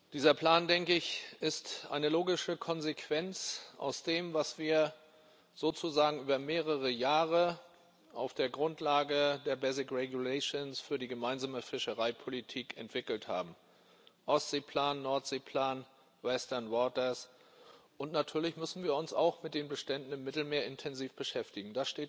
Dieser Plan ist eine logische Konsequenz aus dem, was wir sozusagen über mehrere Jahre auf der Grundlage der für die gemeinsame Fischereipolitik entwickelt haben Ostseeplan, Nordseeplan, Natürlich müssen wir uns auch mit den Beständen im Mittelmeer intensiv beschäftigen.